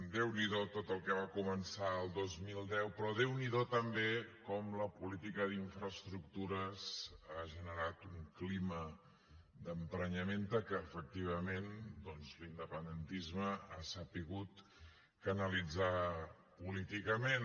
déu n’hi do tot el que va començar al dos mil deu però déu n’hi do també com la política d’infraestructures ha generat un clima d’emprenyament que efectivament doncs l’independentisme ha sabut canalitzar políticament